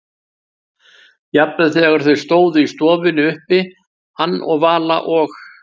Jafnvel þegar þau stóðu í stofunni uppi, hann og Vala, og